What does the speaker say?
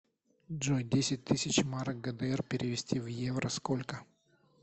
джой десять тысяч марок гдр перевести в евро сколько